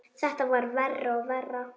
Þetta varð verra og verra.